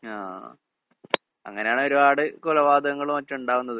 ആഹ്. അങ്ങനെയാണ് ഒരുപാട് കൊലപാതങ്ങളും മറ്റും ഇണ്ടാവുന്നത്.